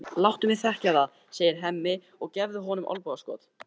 Láttu mig þekkja það, segir Hemmi og gefur honum olnbogaskot.